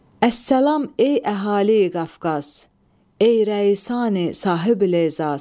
Əssalam ey əhali-Qafqaz, ey rəisani sahib-ibiləzaz!